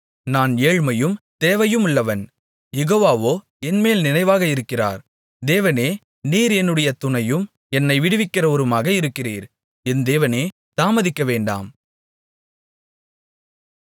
நான் ஏழ்மையும் தேவையுமுள்ளவன் யெகோவாவோ என்மேல் நினைவாக இருக்கிறார் தேவனே நீர் என்னுடைய துணையும் என்னை விடுவிக்கிறவருமாக இருக்கிறீர் என் தேவனே தாமதிக்க வேண்டாம்